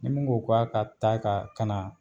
Ni min ko k'a ka taa ka na